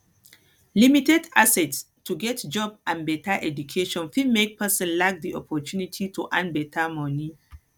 limited access to get job and better education fit make person lack di opportunity to earn better money